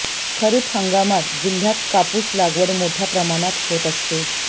खरीप हंगामात जिल्ह्यात कापूस लागवड मोठ्या प्रमाणात होत असते